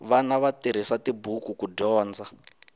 vana va tirhisa tibuku ku dyondza